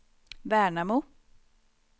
Värnamo